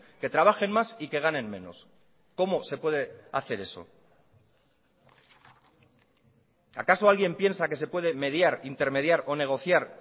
que trabajen más y que ganen menos cómo se puede hacer eso acaso alguien piensa que se puede mediar intermediar o negociar